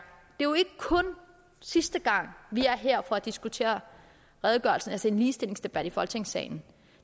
sidste gang vi er her for at diskutere redegørelse altså have en ligestillingsdebat i folketingssalen